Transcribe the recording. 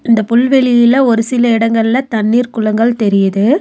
அண்ட புல்வெளியில ஒரு சில அடங்கள்ல தண்ணீர் குளங்கள் தெரியிது.